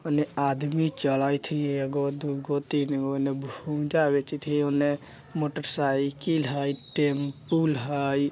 ओने आदमी चलइत हई एगो दुगो तीनगो ओने भुजा बेचयित हई ओने मोटरसाइकिल हई टेम्पुल हइ ।